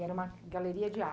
E era uma galeria de